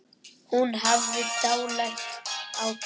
Hún hafði dálæti á köttum.